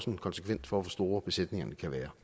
en konsekvens for hvor store besætningerne kan være